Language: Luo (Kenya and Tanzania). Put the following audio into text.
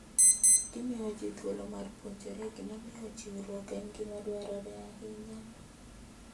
Gimiyo ji thuolo mar puonjore gimomiyo chiwruok en gima dwarore ahinya.